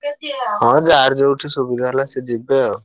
ହଁ ଯାହାର ଯୋଉଠି ସୁବିଧା ହେଲା ସିଏ ଯିବେ ଆଉ।